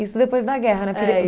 Isso depois da guerra, né? Porque